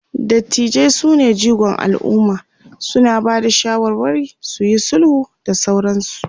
dattijai sune jigon alumma, suna Bada shawarwari, suyi sulhu da sauransu